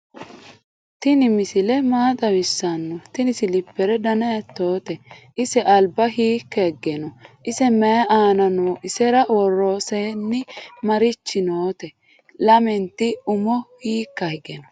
tinimisile maa xawisano? tini silipere dana hitote? ise alba hika hige no?ise mayi aana no isera woroseni marichi note? lamenti umo hikka hige no?